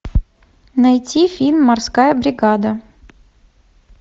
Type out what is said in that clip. найти фильм морская бригада